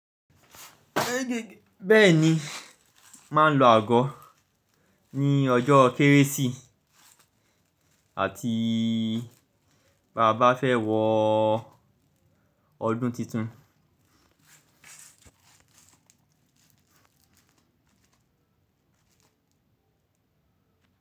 Bẹ́ẹ̀ni, màá ń lo àgọ́ ní ọjọ́ kérésì àti báabá fẹ́ wọ ọdún tuntun.